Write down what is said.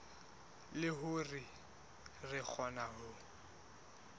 le hore re kgone ho